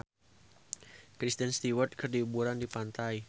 Kristen Stewart keur liburan di pantai